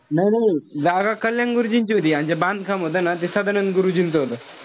नाई नाई जागा कल्याण गुरुजींची होती अन ते बांधकाम होत ना ते सदानंद गुरुजींचं होत.